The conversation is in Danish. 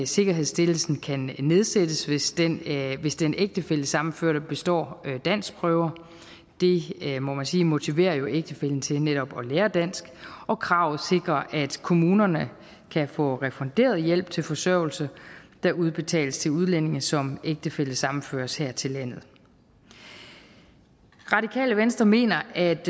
sikkerhedsstillelsen kan nedsættes hvis den hvis den ægtefællesammenførte består danskprøver det må man sige jo motiverer ægtefællen til netop at lære dansk og kravet sikrer at kommunerne kan få refunderet hjælp til forsørgelse der udbetales til udlændinge som ægtefællesammenføres her til landet radikale venstre mener at